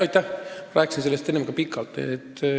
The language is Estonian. Ma rääkisin sellest enne pikalt.